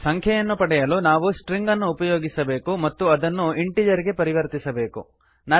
ಸಂಖ್ಯೆಯನ್ನು ಪಡೆಯಲು ನಾವು ಸ್ಟ್ರಿಂಗನ್ನು ಉಪಯೋಗಿಸಬೇಕು ಮತ್ತು ಅದನ್ನು ಇಂಟೀಜರ್ ಗೆ ಪರಿವರ್ತಿಸಬೇಕು